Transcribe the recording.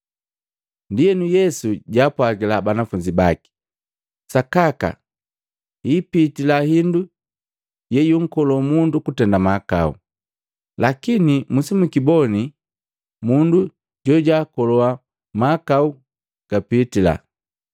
Ndienu Yesu jaapwagila banafunzi baki, “Sakaka ipitila hindu yeyunkolo mundu kutenda mahakau, lakini musijikiboni mundu jojaakoloha mahakau gapitila!